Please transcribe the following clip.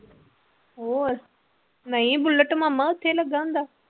ਹੋਰ ਨਹੀਂ ਬੁਲਟ ਮਾਮਾ ਉੱਥੇ ਹੀ ਲੱਗਾ ਹੁੰਦਾ।